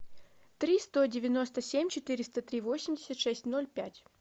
три сто девяносто семь четыреста три восемьдесят шесть ноль пять